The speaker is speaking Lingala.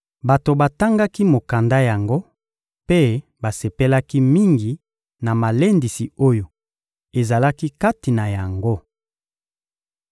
Bato batangaki mokanda yango mpe basepelaki mingi na malendisi oyo ezalaki kati na yango.